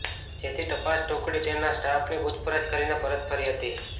જેથી તપાસ ટુકડી તેમના સ્ટાફની પુછપરછ કરીને પરત ફરી હતી